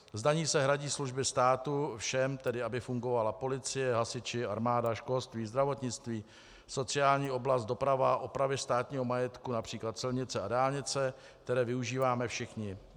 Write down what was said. Z daní se hradí služby státu všem, tedy aby fungovala policie, hasiči, armáda, školství, zdravotnictví, sociální oblast, doprava, opravy státního majetku, například silnice a dálnice, které využíváme všichni.